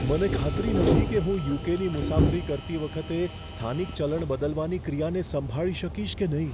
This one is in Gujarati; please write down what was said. મને ખાતરી નથી કે હું યુ.કે.ની મુસાફરી કરતી વખતે સ્થાનિક ચલણ બદલવાની ક્રિયાને સંભાળી શકીશ કે નહીં.